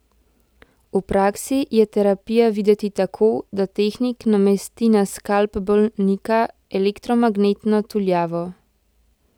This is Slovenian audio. V praksi je terapija videti tako, da tehnik namesti na skalp bolnika elektromagnetno tuljavo.